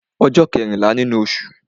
Ọjọ́ kẹ́rìnlá nínú osù